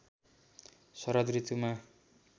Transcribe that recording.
शरद ऋतुमा